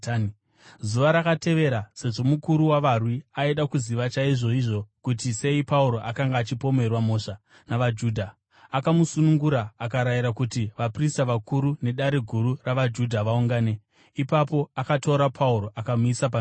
Zuva rakatevera, sezvo mukuru wavarwi aida kuziva chaizvoizvo kuti sei Pauro akanga achipomerwa mhosva navaJudha, akamusunungura akarayira kuti vaprista vakuru neDare Guru ravaJudha vaungane. Ipapo akatora Pauro akamumisa pamberi pavo.